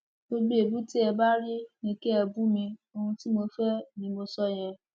gbogbo èébú tẹ ẹ bá rí ni kí ẹ bù mí ohun tí mo fẹ ni mo sọ yẹn